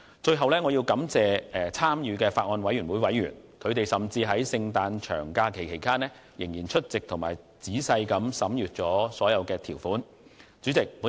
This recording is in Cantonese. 最後，我感謝法案委員會的委員，他們甚至在聖誕節長假期間仍抽空出席會議及仔細審閱相關條款。